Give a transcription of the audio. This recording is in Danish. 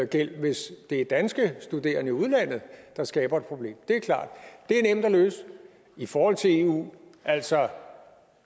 gæld hvis det er danske studerende i udlandet der skaber et problem det er klart det er nemt at løse i forhold til eu altså